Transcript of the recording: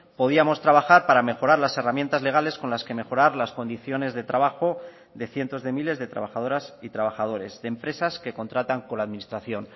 podíamos trabajar para mejorar las herramientas legales con las que mejorar las condiciones de trabajo de cientos de miles de trabajadoras y trabajadores de empresas que contratan con la administración